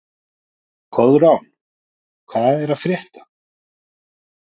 Koðrán, hvað er að frétta?